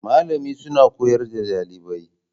Malamin suna koyar da ɗalibai